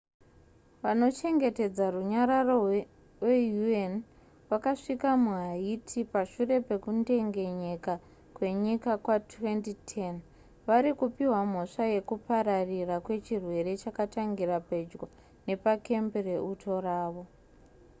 vanochengetedza runyararo weun vakasvika muhaiti pashure pekudengenyeka kwenyika kwa2010 vari kupiwa mhosva yekupararira kwechirwere chakatangira pedyo nepakembi reuto ravo